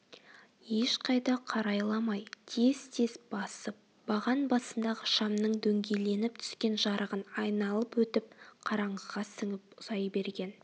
ешқайда қарайламай тез-тез басып баған басындағы шамның дөңгеленіп түскен жарығын айналып өтіп қараңғыға сіңіп ұзай берген